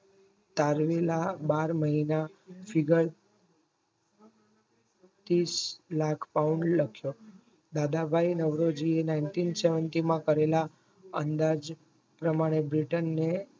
તારવીને બાર મહિના figure તીસ લાખ પાઉન લક્સો દાદાભાઈ નવરોજીએ Nineteen Seventeen માં કરેલા અંદાજ પ્રમાણે બ્રિટિનને